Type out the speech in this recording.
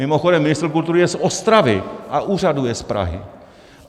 Mimochodem ministr kultury je z Ostravy a úřaduje z Prahy.